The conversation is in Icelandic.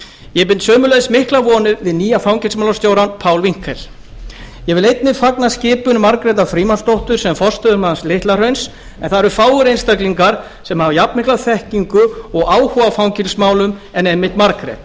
ég bind sömuleiðis miklar vonir við nýja fangelsismálastjórann pál winkel ég vil einnig fagna skipun margrétar frímannsdóttur sem forstöðumanns litla hrauns en það eru fáir einstaklingar sem hafa jafnmikla þekkingu og áhuga á fangelsismálum en einmitt margrét